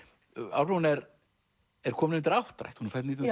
Álfrún er er komin undir áttrætt hún er fædd nítján